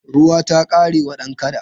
Ruwa ta ƙare wa dan kada.